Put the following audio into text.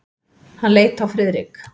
Hann leit á Friðrik.